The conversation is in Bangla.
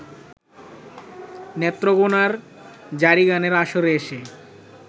নেত্রকোনার জারিগানের আসরে এসে